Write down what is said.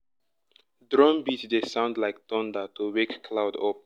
drum beat dey sound like thunder to wake cloud up.